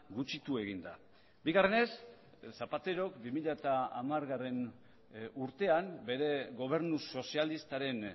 gutxitu egin da bigarrenez zapaterok bi mila hamargarrena urtean bere gobernu sozialistaren